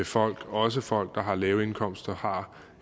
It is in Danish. folk også folk der har lave indkomster har